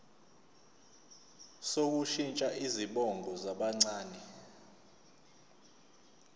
sokushintsha izibongo zabancane